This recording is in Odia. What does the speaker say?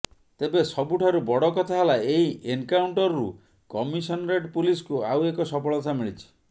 ତେବେ ସବୁଠାରୁ ବଡ଼ କଥା ହେଲା ଏହି ଏନକାଉଣ୍ଟରରୁ କମିଶନରେଟ୍ ପୁଲିସକୁ ଆଉ ଏକ ସଫଳତା ମିଳିଛି